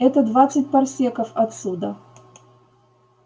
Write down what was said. это двадцать парсеков отсюда